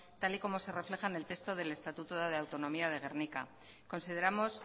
tal y como se refleja en el texto del estatuto de autonomía de gernika consideramos